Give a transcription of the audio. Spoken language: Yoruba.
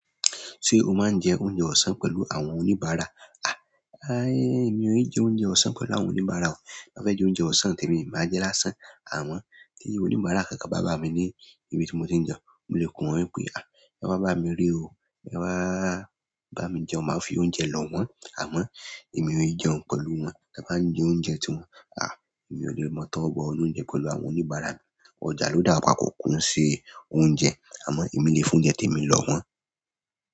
Ṣé o máa ń jẹ oúnjẹ ọ̀sán pẹ̀lú àwọn oníbàárà? Èmi ò ní jẹ oúnjẹ ọ̀sán pẹ̀lú àwọn oníbàárà o. Nbá fẹ́ jẹ oúnjẹ ọ̀sán tẹ̀mi, màá jé lásán. Àmon tí oníbàárà kankan bá bámi ní ibi tí mo tí ń jẹun. Mo lè pè wọ́n wípé, "ẹ wá bá mí re o, ẹ wá bá mi jẹun." Màá fi oúnjẹ lò wọ́n àmọ́ èmi ò í jẹun pẹ̀lú wọn. Ta bá ń jẹ oúnjẹ ti wọn. Èmi ò lè mọ to wó bo inú oúnjẹ pẹ̀lú àwọn oníbàárà mi. Ọjà ló dà wá papọ̀ kò n se oúnjẹ. Àmọ́ èmí le fi oúnjẹ tèmi lò wọ́n.